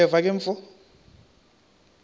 uyeva ke mfo